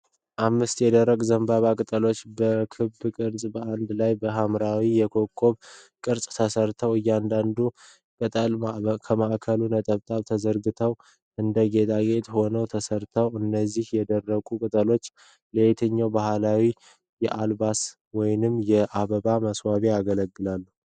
አምስት የደረቅ ዘንባባ ቅጠሎች በክብ ቅርጽ በአንድ ላይ በማዋሃድ የኮከብ ቅርፅ ሰርተዋል። እያንዳንዱ ቅጠል ከማዕከላዊ ነጥብ ተዘርግቷል። እንደ ጌጣጌጥ ሆኖ ተሰርቷል። እነዚህ የደረቁ ቅጠሎች ለየትኛው ባህላዊ የአልባሳት ወይም የአበባ ማስዋቢያነት ያገለግላሉ?